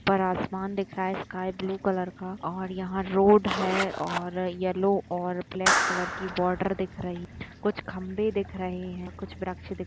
खिड़की है ऊपर आसमान दिख रहा है स्काई ब्लू कलर का और यहाँ रोड है और येल्लो और ब्लैक कलर की बॉर्डर दिख रही है कुछ खम्बे दिख रहे है कुछ वरक्ष --